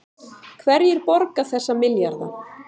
Hverjir borga þessa milljarða